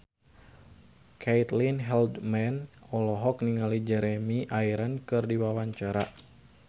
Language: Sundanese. Caitlin Halderman olohok ningali Jeremy Irons keur diwawancara